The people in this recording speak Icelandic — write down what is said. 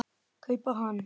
kaupa hann.